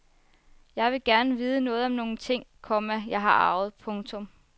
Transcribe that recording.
Jeg ville gerne vide noget om nogle ting, komma jeg har arvet. punktum